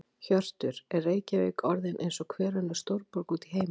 Hjörtur: Er Reykjavík orðin eins og hver önnur stórborg út í heimi?